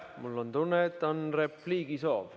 Mul on tunne, et on repliigisoov.